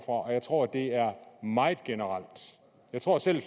og jeg tror det er meget generelt jeg tror at selv